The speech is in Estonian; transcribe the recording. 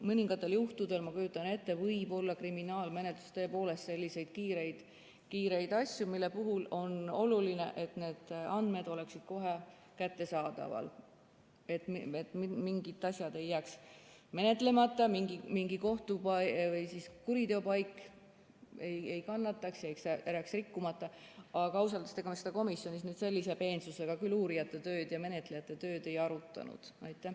Mõningatel juhtudel, ma kujutan ette, võib olla kriminaalmenetluses tõepoolest selliseid kiireid asju, mille puhul on oluline, et need andmed oleksid kohe kättesaadavad, et mingid asjad ei jääks menetlemata, mingi kuriteopaik ei kannataks ja jääks rikkumata.